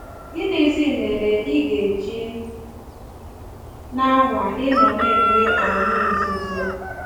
Gịnịzi mere ị ga-eji na-anwa ịnọ na-enwe ọnyị nzuzo?